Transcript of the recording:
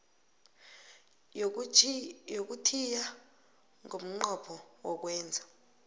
yokuthiya ngomnqopho wokwenza